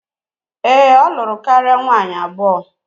Ee, o luru karia nwaanyi abuo